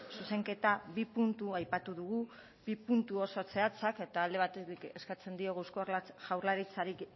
zuzenketan bi puntu aipatu ditugu bi puntu oso zehatzak alde batetik eskatzen diogu eusko jaurlaritzari